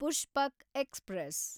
Pushpak express